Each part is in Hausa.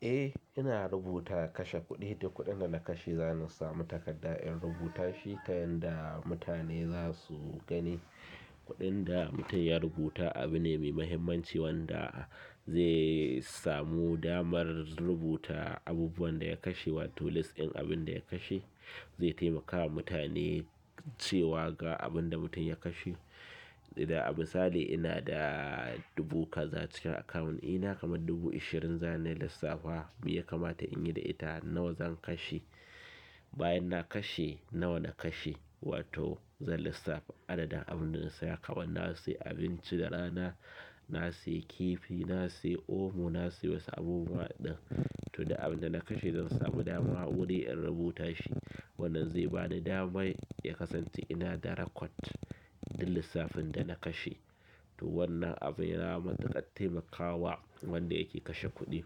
Eh, ina rubuta kashe kuɗi. Duk kuɗin da na kashe, zan samu takarda in rubuta shi ta yanda mutane za su gani. Kuɗin da mutum ya rubuta abu ne mai mahimmanci wanda zai samu damar rubuta abubuwan da ya kashe wato list ɗin abin da ya kashe. Zai taimaka wa mutane cewa ga abin da mutum ya kashe. Da misali ina da dubu kaza cikin akawun ina, kamad dubu ishirin zan yi lissafa mi ya kamata in yi da ita, nawa zan kashe? Bayan na kashe, nawa na kashe? Wato zan lissafa adadin abin da na saya. Kaman na sayi abinci da rana, na sayi kifi, na sayi omo, na sayi wasu abubuwa ɗin. To duk abin da na kashe zan samu dama wuri in rubuta shi. Wannan zai ba ni damar ya kasance ina da record ɗin lissafin da na kashe. To wannan abu ya na matuƙar taimakawa wanda ya ke kashe kuɗi,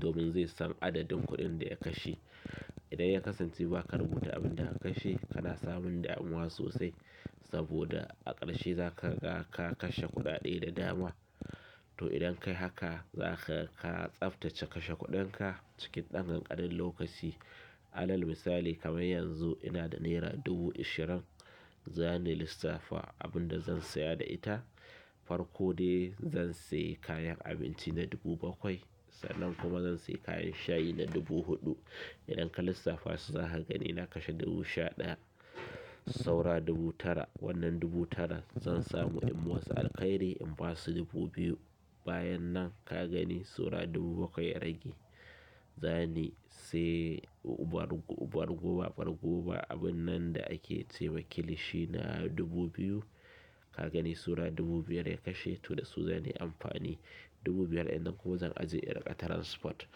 domin zai san adadin kuɗin da ya kashe. Idan ya kasance ba ka rubuta abin da ka kashe, kana samun damuwa sosai saboda a ƙarshe za ka ga ka kashe kuɗaɗe da dama. To idan ka yi haka, za ka ga tsaftace kashe kuɗinka cikin ɗan kanƙanin lokaci. Alal misali kamar yanzu ina da naira dubu ishirin za na lissafa abin da zan saya da ita. Farko dai zan sayi kayan abinci na dubu bakwai. Sannan kuma zan sayi kayan shayi na dubu huɗu. Idan ka lissafa su, za ka gani na kashe dubu sha ɗaya. Saura dubu tara. Wannan dubu tara zan samu in wasu alkairi in ba su dubu biyu bayan nan ka gani saura dubu bakwai rage. Zan yi sayi ubar guba, ubar guba, ubar guba. Abun nan da ake ce wa kilishi na dubu biyu. Ka gani saura dubu biyar ya kashe. To da su zan yi amfani dubu biyar. Idan kuma zan ajiye irin ƙa transport.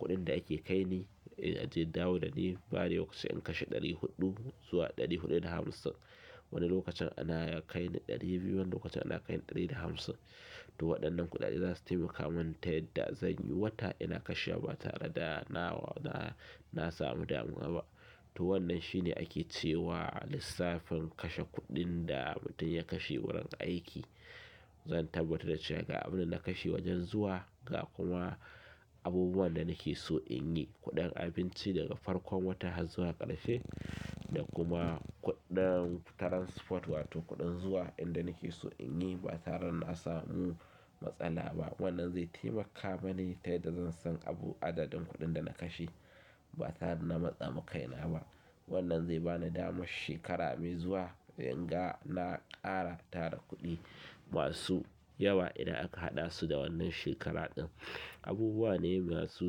Kuɗin da ake kai ni aji, dawo da ni, bari lokacin kashe ɗari huɗu zuwa ɗari huɗu da hamsin. Wani lokacin ana kaini ɗari biyu, wani lokacin ana kaini ɗari da hamsin. Toh waɗannan kuɗaɗe za su taimakamin ta yanda zan yi wata ina kashewa ba tare da na sanmu damuwa ba to wannan shi ne ake cewa a lissafin kashe kuɗin da mutum ya kashe wurin aiki. Zan tabbatar da cewa ga abin da na kashe wajen zuwa ga kuma abubuwan da nake so in yi. Kuɗin abinci daga farkon wata har zuwa ƙarshe da kuma kuɗin transport wato kuɗin zuwa inda nake so in yi ba tare na samu matsala ba. Wannan zai taimaka mani ta yadda zan san abu adadin kuɗin da na kashe ba tare da na matsa ma kai na ba. Wannan zai ba ni damar shekara mai zuwa in ga na ƙara tara kuɗi masu yawa idan aka haɗa su da wannan shekara ɗin. Abubuwa ne masu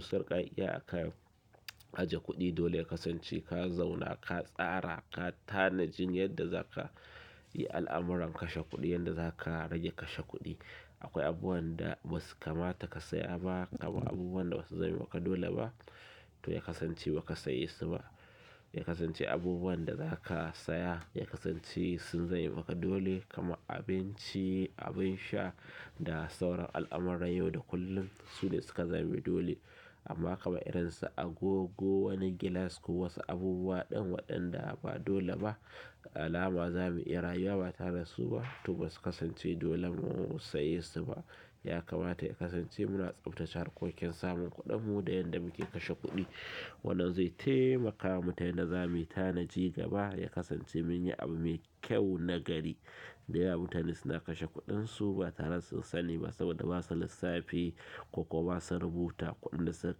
sarƙaƙƙiya a kan ajiye kuɗi dole ka kasance ka zauna ka tsara, ka tanaji yadda za ka yi al'amuran kashe kuɗi, yadda za ka rage kashe kuɗi. Akwai abubuwan da ba su kamata ka saya ba kamar abubuwan da ba su zama maka dole ba. To ya kasance ba ka saya su ba. Ya kasance abubuwan da za ka saya ya kasance sun zama maka dole kamar abinci, abin sha da sauran al'amuran yau da kullum. Su ne suka zama dole amma kamar irin su agogo, wani gilas ko wasu abubuwa ɗin waɗanda ba dole ba alama za mu iya rayuwa ba tare da su ba. To ba su kasance dole mu saya su ba. Ya kamata ya kasance muna tsaftace hanyoyin samun kuɗin mu da yanda mu ke kashe kuɗi. Wannan zai taimaka mu ta yadda za mu tanaji gaba. Ya kasance mun yi abu mai kyau nagari. Da yawa mutane suna kashe kuɗin su ba tare da sun sani ba saboda basa lissafi ko kuma basa rubuta kuɗin da suka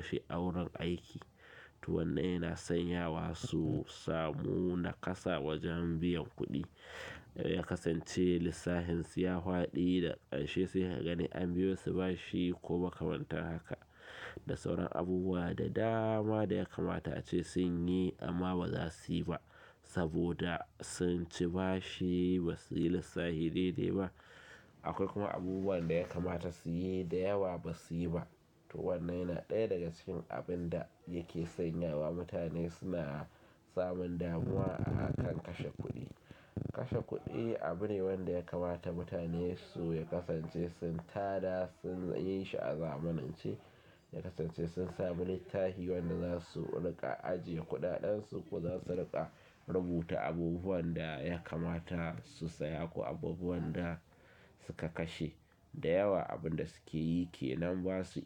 kashe a wurin aiki. To wannan yana sanyawa su samu nakasa wajen biyan kuɗi. Ya kasance lissafin su ya faɗi daga ƙarshe sai ka gani an biyo su bashi ko ba makamantan haja da sauran abubuwa da dama da ya kamata ace sun yi amma ba za su yi ba saboda sun ci bashi ba su yi lissafi daidai ba. Akwai kuma abubuwan da ya kamata su yi da yawa ba su yi ba. To wannan yana ɗaya daga cikin abunda ya ke sanyawa mutane suna samun damuwa a kan kashe kuɗi. Kashe kuɗi abu ne wanda ya kamata mutane su ya kasance sun tanada, sun yi shi a zamanance. Ya kasance sun sami littafi wanda za su riƙa ajiye kuɗaɗansu kuma za su riƙa rubuta abubuwan da ya kamata su saya ko abubuwan da suka kashe. Da yawa abun da suke yi ke nan ba su.